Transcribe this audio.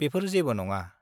बेफोर जेबो नङा।